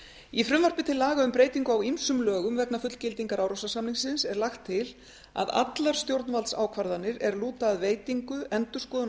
í frumvarpi til laga um breytingu á ýmsum lögum vegna fullgildingar árósasamningsins er lagt til að allar stjórnvaldsákvarðanir er lúta að veitingu endurskoðun